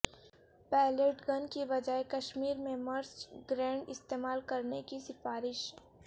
palette gun کے بجائے کشمیر میں مرچ گرینڈ استعمال کرنے کی سفارش